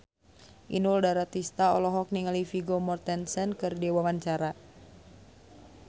Inul Daratista olohok ningali Vigo Mortensen keur diwawancara